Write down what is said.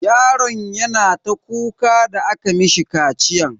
Yaron yana ta kuka da aka mishi kaciyan.